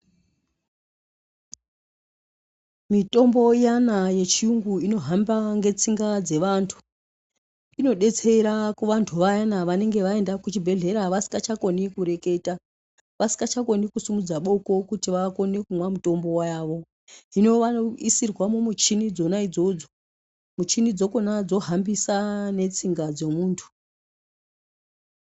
Mitombo iyana yechiyungu inohamba ngetsinga dzevantu inodetsera kuvantu vayana vanenge vaenda kuchibhedhlera vasingachakoni kureketa, vasingachakoni kusumudza boko kuti vakone kumwa mutombo yavo hino vanosisirwa mumuchini dzona idzodzo muchini dzakona dzohambisa ngetsinga dzemuntu.